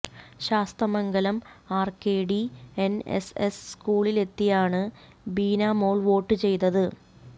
Sasthamangalam RKD NSS സ്കൂളിലെത്തിയാണ് Beena Mol vote ചെയ്തത്